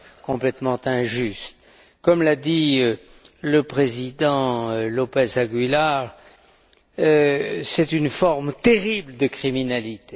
complètement injuste. Comme l'a dit le président López Aguilar, c'est une forme terrible de criminalité.